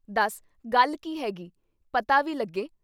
ਦੱਸ ਗੱਲ ਕੀ ਹੈ ਗੀ? ਪਤਾ ਵੀ ਲੱਗੇ।"